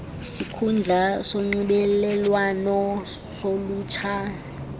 sikhundla sonxibelelwano solutsha